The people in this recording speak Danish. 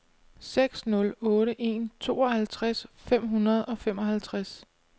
seks nul otte en tooghalvtreds fem hundrede og femoghalvtreds